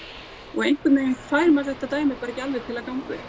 og einhvern veginn fær maður þetta dæmi bara ekki alveg til að ganga upp ég